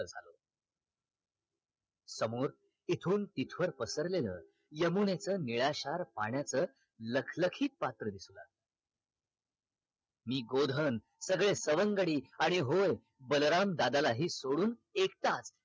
समोर इथूनतीथवर पसरलेल यमुनेच निळाशार पाण्याच लखलखीत पात्र दिसला मी गोधन सगळे सवंगडी आणि होय बलराम दादालाही सोडून एकटाच